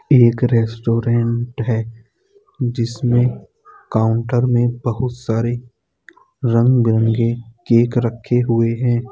एक रेस्टोरेंट है जिसमें काउंटर में बहुत सरे रंग-बिरंगे केक रखे हुए है।